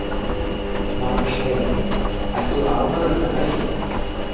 Magnús Hlynur: Ert þú ánægður með daginn?